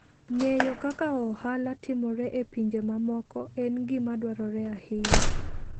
Ng'eyo kaka ohala timore e pinje mamoko en gima dwarore ahinya.